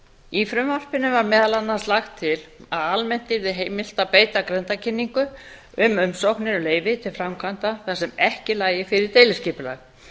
í frumvarpinu var meðal annars lagt til að almennt yrði heimilt að beita grenndarkynningu um umsóknir um leyfi til framkvæmda þar sem ekki lægi fyrir deiliskipulag